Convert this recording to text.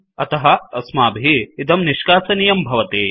अतः अस्माभिः इदं निष्कासनीयं भवति